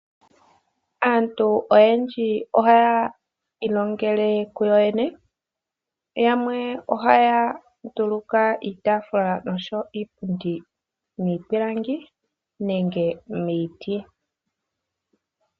Aantu oyendji ohaya ilongele kuyo yene yamwe ohaya nduluka iitafula noshowo iipundi miipilangi nenge miiti.